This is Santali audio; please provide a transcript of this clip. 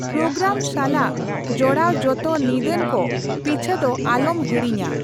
ᱯᱨᱳᱜᱨᱟᱢ ᱥᱟᱞᱟᱜ ᱡᱚᱲᱟᱣ ᱡᱚᱛᱚ ᱱᱤᱫᱟᱹᱱ ᱠᱚ ᱯᱤᱪᱷᱟᱹ ᱫᱚ ᱟᱞᱚᱢ ᱦᱤᱲᱤᱧᱟ ᱾